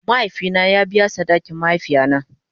Mahaifi na ya biya sadakin mahaifiya na.